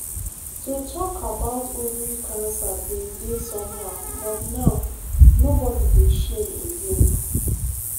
to talk about ovary cancer bin dey somehow but now nobody dey shame again.